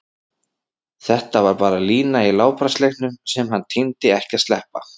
Þetta var bara lína í látbragðsleiknum sem hann tímdi ekki að sleppa.